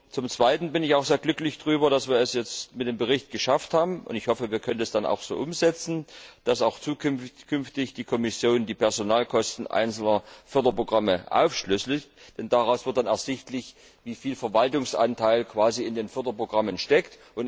Zum zweiten bin ich auch sehr glücklich darüber, dass wir es jetzt mit dem Bericht geschafft haben und ich hoffe, wir können das dann auch so umsetzen dass auch zukünftig die Kommission die Personalkosten einzelner Förderprogramme aufschlüsselt, denn daraus wird dann ersichtlich, welcher Verwaltungsanteil in den Förderprogrammen steckt.